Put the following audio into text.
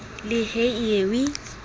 le he e ye e